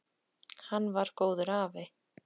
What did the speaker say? Hann var góður afi.